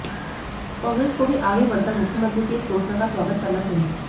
कांग्रेस को भी आगे बढ़कर मुख्यमंत्री की इस घोषणा का स्वागत करना चाहिए